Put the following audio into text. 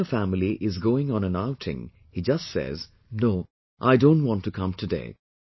When the entire family is going on an outing, he just says, "No, I don't want to come today